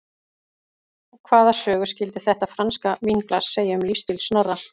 Og hvaða sögu skyldi þetta franska vínglas segja um lífsstíl Snorra?